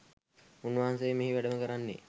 උන්වහන්සේ මෙහි වැඩම කරන්නේ